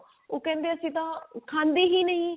ਉਹ ਕਿਹੰਦੇ ਆ ਅਸੀਂ ਤਾਂ ਖਾਂਦੇ ਹੀ ਨਹੀਂ